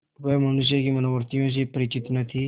वह मनुष्य की मनोवृत्तियों से परिचित न थी